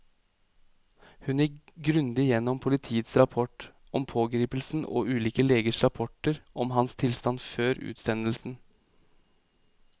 Hun gikk grundig gjennom politiets rapport om pågripelsen og ulike legers rapporter om hans tilstand før utsendelsen.